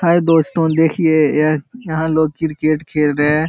High दोस्तों देखिए यह यहाँ लोग किरकेट खेल रहे हैं।